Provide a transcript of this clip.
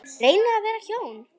Reynir að vera ljón.